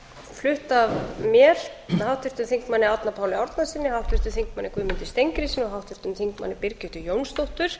flutt af mér og háttvirtum þingmanni árna páli árnasyni háttvirtum þingmanni guðmundi steingrímssyni og háttvirtum þingmanni birgittu jónsdóttur